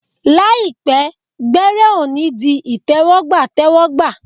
Làìpẹ́, gbẹ́rẹ́ ọ̀ ní di ìtẹ́wọ́gbà tẹ́wọ́gbà